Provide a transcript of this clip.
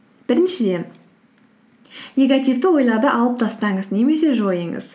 біріншіден негативті ойларды алып тастаңыз немесе жойыңыз